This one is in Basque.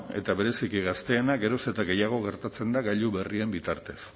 eta bereziki gazteenak geroz eta gehiago gertatzen da gailu berrien bitartez